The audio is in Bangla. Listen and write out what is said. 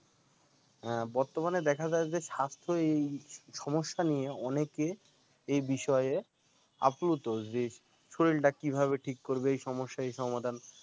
আহ বর্তমানে দেখা যায় যে স্বাস্থ্যই সমস্যা নিয়ে অনেকে এ এই বিষয়ে আপ্লুত যে শরীরটা কীভাবে ঠিক করবে? এই সমস্যা এই সমাধান